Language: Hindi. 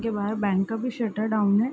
के बाहर बैंक का भी शटर डाउन है।